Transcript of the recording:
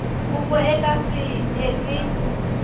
kopo e ka se elwe